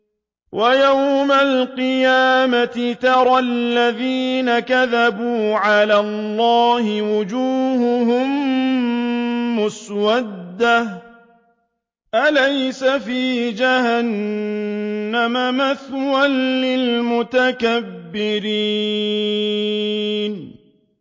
وَيَوْمَ الْقِيَامَةِ تَرَى الَّذِينَ كَذَبُوا عَلَى اللَّهِ وُجُوهُهُم مُّسْوَدَّةٌ ۚ أَلَيْسَ فِي جَهَنَّمَ مَثْوًى لِّلْمُتَكَبِّرِينَ